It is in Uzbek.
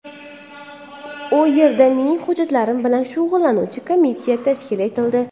U yerda mening hujjatlarim bilan shug‘ullanuvchi komissiya tashkil etildi.